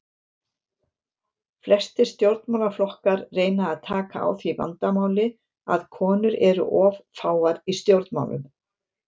Flestir stjórnmálaflokkar reyna að taka á því vandamáli að konur eru of fáar í stjórnmálum.